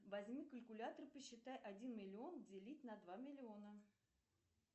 возьми калькулятор посчитай один миллион делить на два миллиона